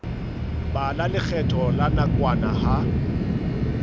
bala lekgetho la nakwana ka